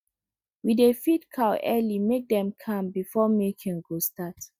we dey feed cow early make dem calm before milking go start